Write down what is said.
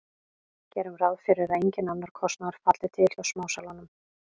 Gerum ráð fyrir að enginn annar kostnaður falli til hjá smásalanum.